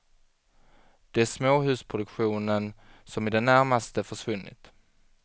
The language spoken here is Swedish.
Det är småhusproduktionen som i det närmaste försvunnit.